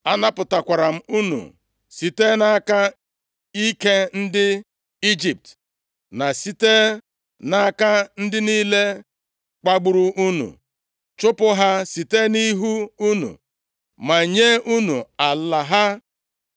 Anapụtara m unu site nʼaka ike ndị Ijipt na site nʼaka ndị niile kpagburu unu, chụpụ ha site nʼihu unu, ma nye unu ala ha.